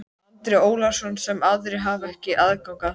Andri Ólafsson: Sem aðrir hafa ekki aðgang að?